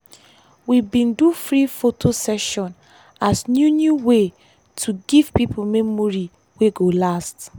we bin do free photo session as new new way to give pipo memory wey go last.